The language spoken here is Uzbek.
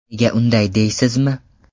Nega unday deysizmi?